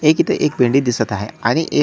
एक इथ एक दिसत आहे आणि ए--